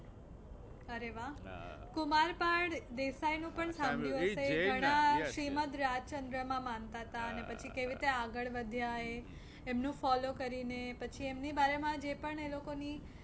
અરે વાહ. કુમારપાળ દેસાઈ નું પણ સાંભળ્યું હશે. ઘણા શ્રીમદ રાજચંદ્ર માં માનતા હતા અને પછી કેવી રીતે આગળ વધ્યા એ, એમનું follow કરીને પછી એમની બારે માં જે પણ એ લોકો ની